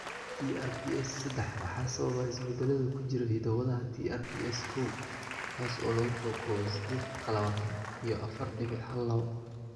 TRPS seddax waxaa sababa isbeddellada ku jira hidda-wadaha TRPS koow kaas oo lagu soo koobay sideed qlawatan iyo afaar dhibic hal lawo.